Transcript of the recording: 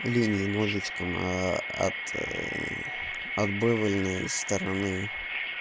линии ножичком от отбэвэльной стороны